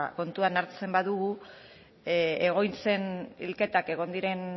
kontuan hartzen badugu egoitzen hilketak egon diren